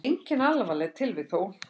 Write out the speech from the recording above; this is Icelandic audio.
Engin alvarleg tilvik þó.